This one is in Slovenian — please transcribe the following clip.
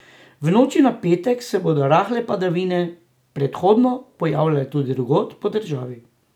V noči na petek se bodo rahle padavine prehodno pojavljale tudi drugod po državi.